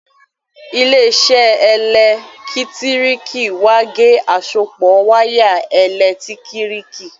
ile-iṣẹ elekitiriki wá ge àsopọ waya elekitiriki.